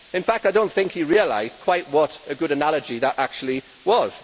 In fact, I do not think he realised quite what a good analogy that actually was.